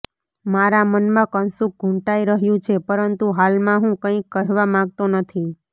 મારા મનમાં કશુંક ઘૂંટાઈ રહ્યું છે પરંતુ હાલમાં હું કંઈ કહેવા માગતો નથી